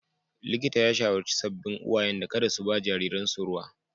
Likita ya shawarci sabbin uwayen da kada su ba jariransu ruwa.